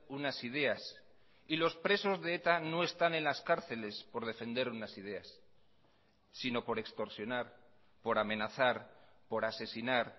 unas ideas y los presos de eta no están en las cárceles por defender unas ideas sino por extorsionar por amenazar por asesinar